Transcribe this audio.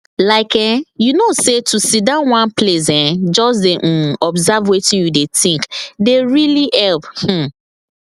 like[um]you know say to sidon one place um just dey um observe wetin you dey think dey really help um